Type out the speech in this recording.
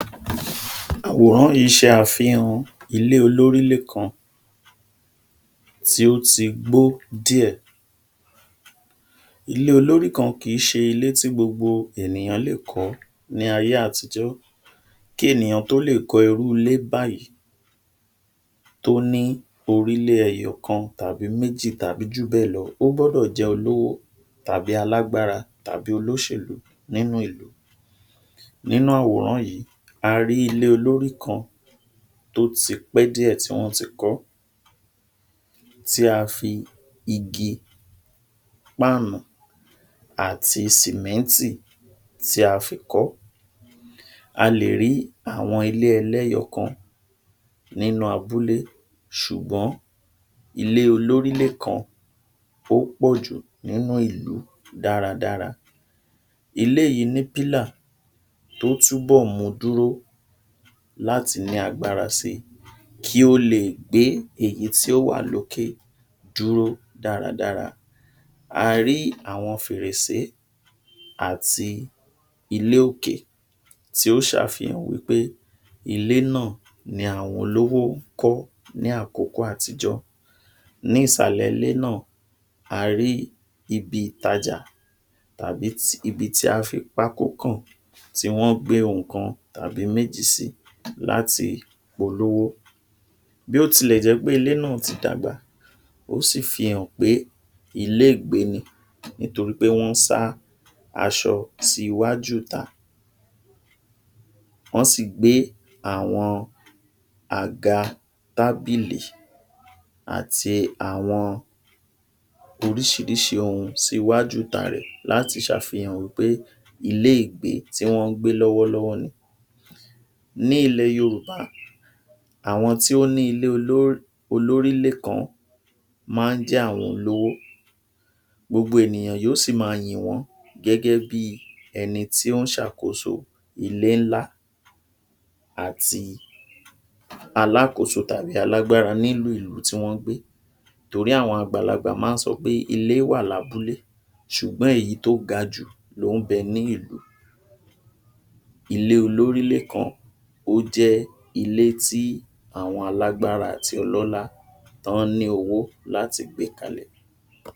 Àwòrán yìí ṣe àfihàn ilé olórílé kan tí ó ti gbó díẹ̀. Ilé olórí kan kì í ṣe ilé tí gbogbo ènìyàn lè kọ̀ọ́ ní ayé àtijọ́. Kí ènìyàn tó lè kọ́ irú ilé báyìí tóní orílé ẹyọkan tàbí méjì tàbí jùbẹ́ẹ̀lọ, ó gbọ́dọ̀ jẹ́ olówó tàbí alágbára tàbí olóṣèlú nínú ìlú. Nínú àwòrán yìí, a rí ilé olórí kan tó ti pẹ́ díè tí wọ́n ti kọ́ tí a fi igi, páànù àti sìmẹ́ńtì tí a fi kọ́. A lè rí àwọn ilé ẹlẹ́yọkan nínú abúlé ṣùgbọ́n ilé olórílé kan ó pọ̀jù nínú ìlú dáradára. Ilé yìí ní pílà tó túbọ̀ mu dúró láti ní agbára si, kí ó leè gbé èyí tí ó wà lókè dúró dáradára. A rí àwọn fèrèsé àti ilé òkè tí ó ṣe àfihàn wípé ilé náà ni àwọn olówó kọ ní àkókò àtijọ́. Ní ìsàlẹ̀ ilé náà, a rí ibi ìtajà tàbí ibi tí a fi pákó kàn tí wọ́n gbé ohun kan tàbí méjì sí láti polówó. Bí ó tilẹ̀ jẹ́ pé ilé náà ti dàgbà, ó sì fihàn pé ilé ìgbé ni nítorí pé wọ́n sá aṣọ sí iwájú ìta, wọ́n sì gbé àwọn àga, tábílì àti àwọn oríṣirísi ọhùn síwájú ìta rẹ̀ láti ṣàfihàn wípé ilé ìgbé tí wọ́n ń gbé lọ́wọ́lọ́wọ́ ni. Ní ilẹ̀ Yorùbá àwọn tí ó ní ilé oló olórílé kan máa ń jẹ́ àwọn olówó. Gbogbo ènìyàn yóò sí máa yìn wọ́n gẹ́gẹ́ bí ẹni tí ó ń ṣàkóso ilé ńlá àti alákòóso tàbí alágbára nínú ìlú tí wọ́n gbé torí àwọn àgbàlagbà máa ń sọpé ilé wà lábúlé sùgbón èyí tó gajù ló ń bẹ ní ìlú. Ilé olórílé kan, ó jẹ́ ilé tí àwọn alágbára àti ọlọ́lá tọ́ ní owó láti gbé kalẹ̀.